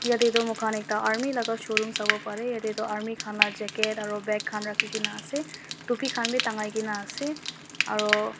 yatae toh moikhan ekta army laka showroom sawoparae yatae toh army laka jacket aro bag khan rakhikaena ase aro topi khan bi tangai kaena ase aro--